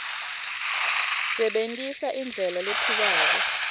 sebentisa indlela lephikako